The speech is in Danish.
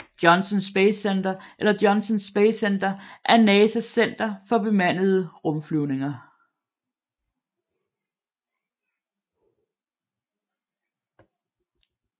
Johnson Space Center eller Johnson Space Center er NASAs center for bemandede rumflyvninger